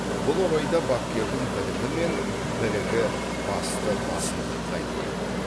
бұл орайда бапкердің білімі мен білігі басты басымдыққа ие